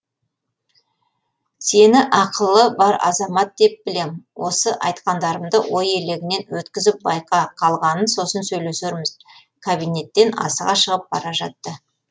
сені ақылы бар азамат деп білем осы айтқандарымды ой елегінен өткізіп байқа қалғанын сосын сөйлесерміз кабинеттен асыға шығып бара жатты